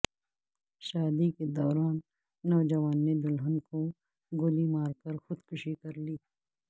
شادی کے دوران نوجوان نے دلہن کو گولی مار کرخود کشی کرلی